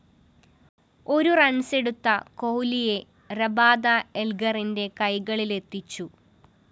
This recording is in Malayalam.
ഒരു റണ്‍സെടുത്ത കോഹ്‌ലിയെ രബാദ എല്‍ഗറിന്റെ കൈകളിലെത്തിച്ചു